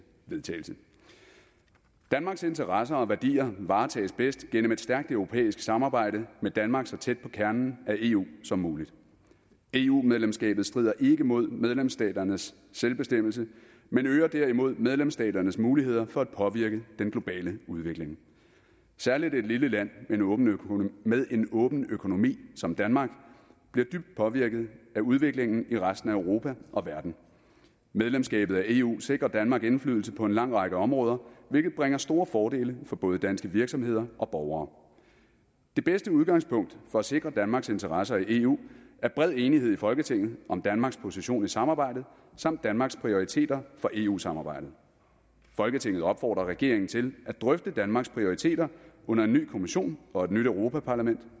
vedtagelse danmarks interesser og værdier varetages bedst gennem et stærkt europæisk samarbejde med danmark så tæt på kernen af eu som muligt eu medlemskabet strider ikke imod medlemsstaternes selvbestemmelse men øger derimod medlemsstaternes muligheder for at påvirke den globale udvikling særligt et lille land med en åben økonomi som danmark bliver dybt påvirket af udviklingen i resten af europa og verden medlemskabet af eu sikrer danmark indflydelse på en lang række områder hvilket bringer store fordele for både danske virksomheder og borgere det bedste udgangspunkt for at sikre danmarks interesser i eu er bred enighed i folketinget om danmarks position i samarbejdet samt danmarks prioriteter for eu samarbejdet folketinget opfordrer regeringen til at drøfte danmarks prioriteter under en ny kommission og et nyt europa parlament